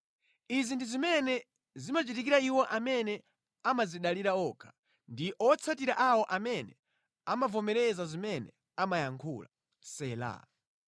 Izi ndi zimene zimachitikira iwo amene amadzidalira okha, ndi owatsatira awo amene amavomereza zimene amayankhula. Sela